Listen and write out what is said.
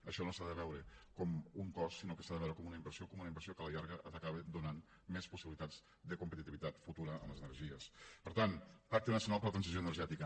això no s’ha de veure com un cost sinó que s’ha de veure com una inversió com una inversió que a la llarga ha d’acabar donant més possibilitats de competitivitat futura a les energies per tant pacte nacional per a la transició energètica